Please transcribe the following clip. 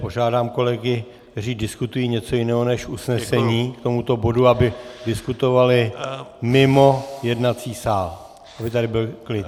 Požádám kolegy, kteří diskutují něco jiného než usnesení k tomuto bodu, aby diskutovali mimo jednací sál, aby tady byl klid.